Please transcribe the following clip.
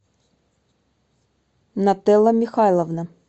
нателла михайловна